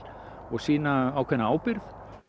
og sýna ákveðna ábyrgð